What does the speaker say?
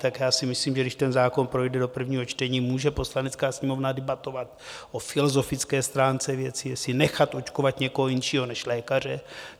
Tak já si myslím, že když ten zákon projde do prvního čtení, může Poslanecká sněmovna debatovat o filozofické stránce věci, jestli nechat očkovat někoho jiného než lékaře.